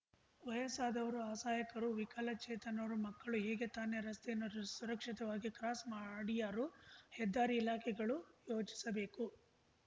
ವಯಸ್ಸಾದವರು ಅಸಹಾಯಕರು ವಿಕಲಚೇತನರು ಮಕ್ಕಳು ಹೇಗೆ ತಾನೆ ರಸ್ತೆಯನ್ನು ಸುರಕ್ಷಿತವಾಗಿ ಕ್ರಾಸ್‌ ಮಾಡಿಯಾರು ಹೆದ್ದಾರಿ ಇಲಾಖೆಗಳು ಯೋಚಿಸಬೇಕು